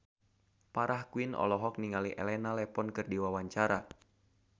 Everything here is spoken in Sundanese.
Farah Quinn olohok ningali Elena Levon keur diwawancara